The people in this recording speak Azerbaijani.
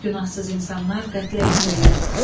Günahsız insanlar qətlə yetirilir.